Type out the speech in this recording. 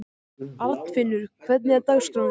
Arnfinnur, hvernig er dagskráin?